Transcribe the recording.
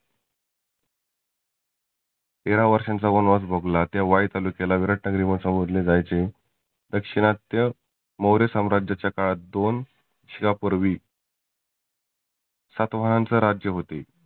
तेरा वर्षांचा वनवास भोगला त्या वाई तालुक्याला विराट नगरी म्हणून संबोधले जायचे. दक्षिनात्य मौर्य सम्राज्याच्या काळात दोन शा पुर्वी सात वाहांच राज्य होते.